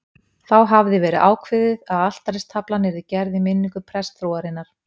Þá hafði verið ákveðið að altaristaflan yrði gerð í minningu prestsfrúarinnar